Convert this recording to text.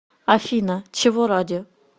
афина чего ради